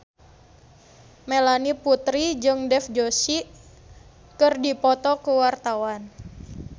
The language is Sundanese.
Melanie Putri jeung Dev Joshi keur dipoto ku wartawan